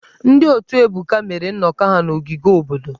Ndị otù Ebuka mere nnọkọ ha n’ogige obodo.